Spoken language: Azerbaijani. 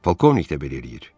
Polkovnik də belə eləyir.